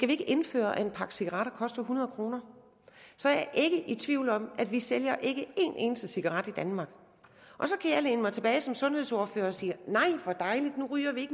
vi ikke indføre at en pakke cigaretter koster hundrede kr så er jeg ikke i tvivl om at vi ikke sælger en eneste cigaret i danmark og så kan jeg læne mig tilbage som sundhedsordfører og sige nej hvor dejligt nu ryger vi